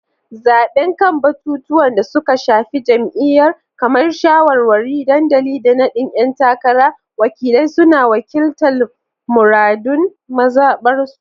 Zabe kan batutuwan da suka shafi jam’iyyar, kamar shawarwarin dandali da nadin ‘yan takara, wakilai suna wakiltar muradun mazabarsu.